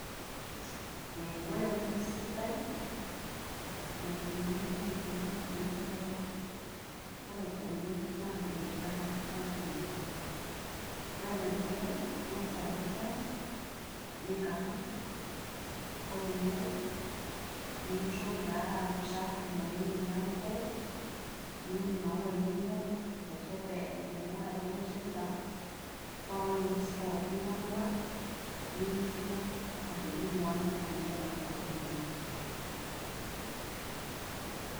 Ee ore enkoitoi sidai naidimi aiboorie enkuesi tiatua aang',ore oleng' naa enkikarata engang'. Ore enedukuya ingas aau fens niingar ang',ore eniare nitoki taata ainguru emilango niun imaua inono aiteshep enaduo waya nitipika paa ore enkues pookin yoongata nemetumoki atijingu aang' anyiala intokitin inono.